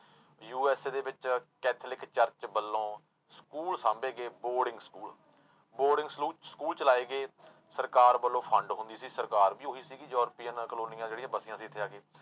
USA ਦੇ ਵਿੱਚ Catholic church ਵੱਲੋਂ ਸਕੂਲ ਸਾਂਭੇ ਗਏ ਬੋਰਡਿੰਗ ਸਕੂਲ ਬੋਰਡਿੰਗ ਸਲੂ, ਸਕੂਲ ਚਲਾਏ ਗਏ ਸਰਕਾਰ ਵੱਲੋਂ fund ਹੁੰਦੀ ਸੀ, ਸਰਕਾਰ ਵੀ ਉਹੀ ਸੀਗੀ ਯੂਰਪੀਅਨ ਕਲੋਨੀਆਂ ਜਿਹੜੀਆਂ ਵਸੀਆਂ ਸੀ ਇੱਥੇ ਆ ਕੇ।